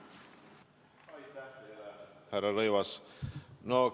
Aitäh teile, härra Rõivas!